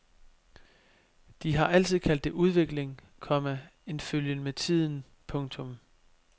De har altid kaldt det udvikling, komma en følgen med tiden. punktum